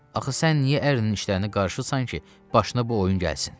Axı sən niyə ərinin işlərini qarışırsan ki, başına bu oyun gəlsin?